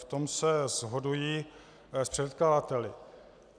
V tom se shoduji s předkladateli.